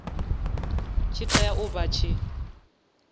tshi tea u vha tshi